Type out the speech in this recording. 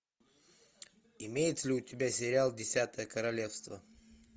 имеется ли у тебя сериал десятое королевство